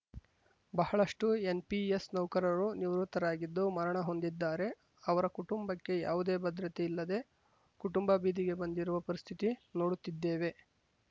ಬಹಳಷ್ಟುಎನ್‌ಪಿಎಸ್‌ ನೌಕರರು ನಿವೃತ್ತರಾಗಿದ್ದು ಮರಣ ಹೊಂದಿದ್ದಾರೆ ಅವರ ಕುಟುಂಬಕ್ಕೆ ಯಾವುದೇ ಭದ್ರತೆ ಇಲ್ಲದೆ ಕುಟುಂಬ ಬೀದಿಗೆ ಬಂದಿರುವ ಪರಿಸ್ಥಿತಿ ನೋಡುತ್ತಿದ್ದೇವೆ